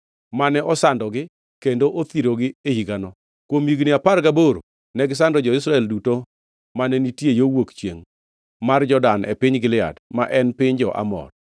mane osandogi kendo othirogi e higano. Kuom higni apar gaboro negisando jo-Israel duto mane nitie yo wuok chiengʼ mar Jordan e piny Gilead, ma en piny jo-Amor.